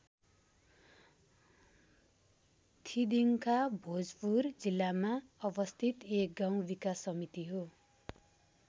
थिदिंखा भोजपुर जिल्लामा अवस्थित एक गाउँ विकास समिति हो।